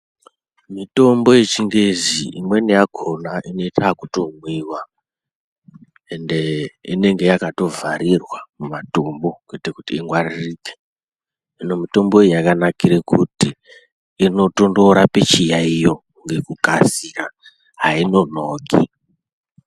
Mitombo yechingezi imweni yakona inoita yekutomwiwa ende inenge yakatovharirwa .mumatumbu kuti ingwaririke hino mitombo iyi yakanakire kuti inotondorape chiyayiyo ngokukasira hainonoki.